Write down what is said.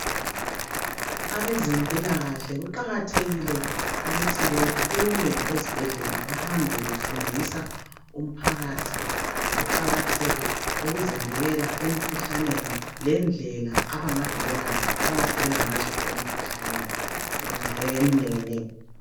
Abezempilakahle kuqakathekile ukuthi bephume ezibhedlela bahambe befundisa umphakathi ngokuqakatheka kokuzivikela emkhuhlaneni lendlela abangazivikela ngazo emikhuhlaneni eminenginengi.